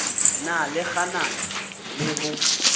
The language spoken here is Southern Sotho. na le kganano le ho